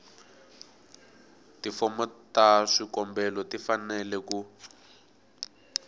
tifomo ta swikombelo tifanele ku